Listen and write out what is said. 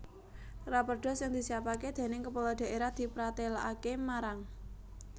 Raperda sing disiapaké déning Kepala Dhaérah dipratélakaké marang